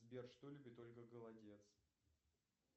сбер что любит ольга голодец